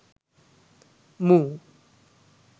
move